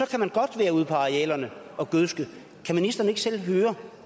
kan man godt være ude på arealerne og gødske kan ministeren ikke selv høre